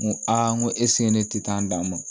N ko aa n ko esike ne ti taa n d'a ma